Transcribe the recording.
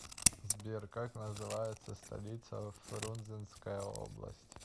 сбер как называется столица фрунзенская область